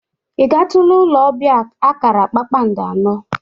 I gatụla ụlọ ọbia akara kpakpandọ anọ?